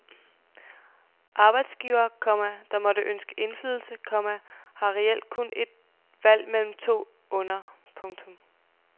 Arbejdsgivere, komma der måtte ønske indflydelse, komma har reelt kun et valg mellem to onder. punktum